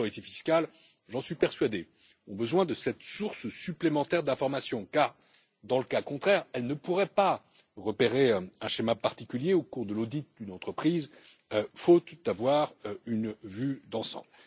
Les autorités fiscales j'en suis persuadé ont besoin de cette source supplémentaire d'information, car dans le cas contraire, elles ne pourraient pas repérer un dispositif particulier au cours de l'audit d'une entreprise faute d'avoir une vue d'ensemble.